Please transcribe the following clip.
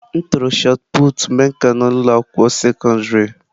M tụrụ shọt pụtụ mgbe m ka nọ n'ụlọ akwụkwọ sekọndrị.